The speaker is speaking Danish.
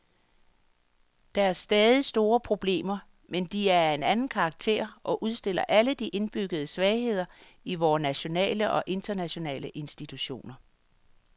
Der er stadig store problemer, men de er af en anden karakter og udstiller alle de indbyggede svagheder i vore nationale og internationale institutioner.